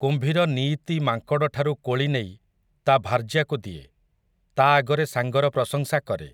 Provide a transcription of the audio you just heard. କୁମ୍ଭୀର ନୀଇତି ମାଙ୍କଡଠାରୁ କୋଳି ନେଇ, ତା ଭାର୍ଯ୍ୟାକୁ ଦିଏ, ତା ଆଗରେ ସାଙ୍ଗର ପ୍ରଶଂସା କରେ ।